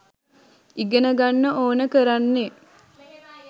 ඉගෙනගන්න ඕන කරන්නෙ?